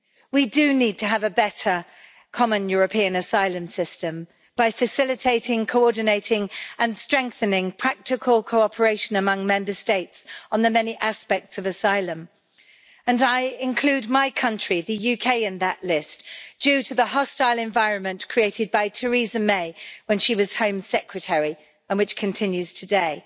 We do need to have a better common European asylum system by facilitating, coordinating and strengthening practical cooperation among Member States on the many aspects of asylum and I include my country, the UK, in that list, due to the hostile environment created by Theresa May when she was Home Secretary and which continues today.